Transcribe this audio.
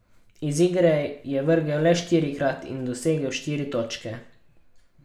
Iz igre je vrgel le štirikrat in dosegel štiri točke.